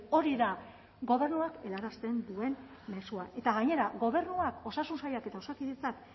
hori da gobernuak helarazten duen mezua eta gainera gobernuak osasun sailak eta osakidetzak